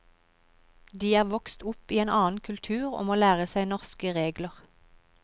De er vokst opp i en annen kultur og må lære seg norske regler.